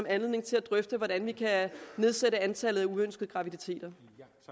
anledning til at drøfte hvordan vi kan nedsætte antallet af uønskede graviditeter